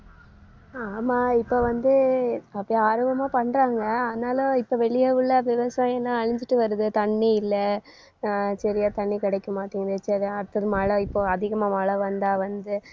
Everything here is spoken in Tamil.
ஆமா இப்ப வந்து அப்படி ஆர்வமா பண்றாங்க . ஆனாலும் இப்ப வெளியே உள்ள விவசாயம்தான் அழிஞ்சிட்டு வருது தண்ணி இல்லை. அஹ் சரியா தண்ணி கிடைக்க மாட்டேங்குது. சரி அடுத்தது மழை இப்போ அதிகமா மழை வந்தா வந்து